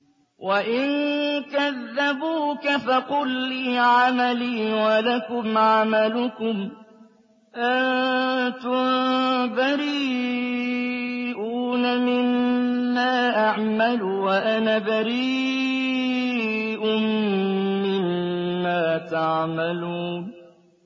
وَإِن كَذَّبُوكَ فَقُل لِّي عَمَلِي وَلَكُمْ عَمَلُكُمْ ۖ أَنتُم بَرِيئُونَ مِمَّا أَعْمَلُ وَأَنَا بَرِيءٌ مِّمَّا تَعْمَلُونَ